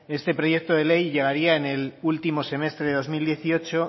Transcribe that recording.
este proyecto de ley llegaría en el último semestre de dos mil dieciocho